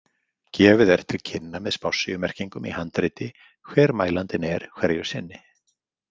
Gefið er til kynna með spássíumerkingum í handriti hver mælandinn er hverju sinni.